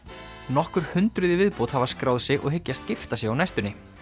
nokkur hundruð í viðbót hafa skráð sig og hyggjast gifta sig á næstunni